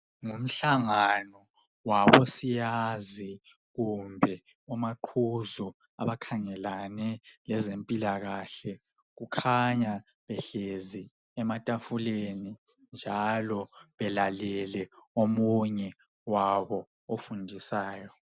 Ngumhlangano wabosiyazi kumbe omaqhuzu abakhangelane lezempilakahle kukhanya behlezi ematafuleni njalo belalele omunye wabo ofundisayo